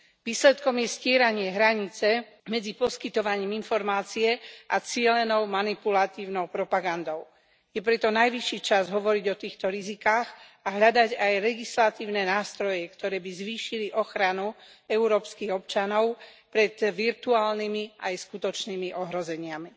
Výsledkom je stieranie hranice medzi poskytovaním informácie a cielenou manipulatívnou propagandou. Je preto najvyšší čas hovoriť o týchto rizikách a hľadať aj legislatívne nástroje, ktoré by zvýšili ochranu európskych občanov pred virtuálnymi aj skutočnými ohrozeniami.